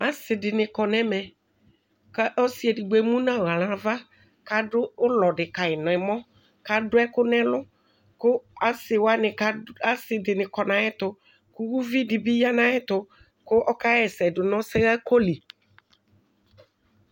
Asi dini kɔnʋ ɛmɛku ɔsi edibgo emu nʋ aɣla nu avaku adu ulɔ di kayi nu ɛmɔku adʋ ɛkʋ nʋ ɛluku asidini kɔnu ayiʋ ɛtuku uvi dibi yanʋ ayiʋ ɛtuku ɔkaɣa ɛsɛ dʋnʋ ɔsɛɣako li